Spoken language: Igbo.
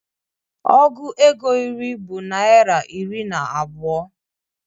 Ọgụ égo iri bụ naira iri na abụọ